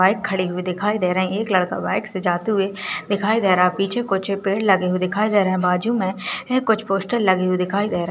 Bike खड़ी हुई दीखाई दे रही है एक लड़का बाइक से जाते हुए दीखाई दे रहा है पीछे मे कुछ पेड़ लगे हुए दीखाई दे रहे हैं बाजू मे कुछ पोस्टर लगे हुए दीखाई दे रहे हैं।